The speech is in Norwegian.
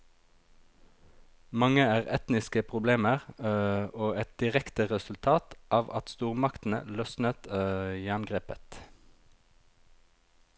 Mange er etniske problemer og et direkte resultat av at stormaktene løsnet jerngrepet.